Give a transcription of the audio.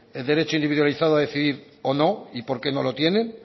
derecho individualizado a decidir o no y por qué no lo tienen